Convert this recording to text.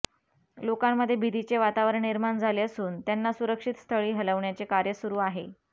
लोकांमध्ये भितीचे वातावरण निर्माण झाले असून त्यांना सुरक्षित स्थळी हलवण्याचे कार्य सुरु आहे